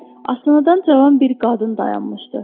Asansordan cavan bir qadın dayanmışdı.